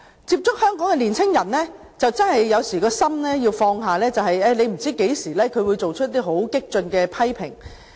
接觸香港年青人，有時真的要放下身段，因為你不知道何時他們會作出一些很激進的批評。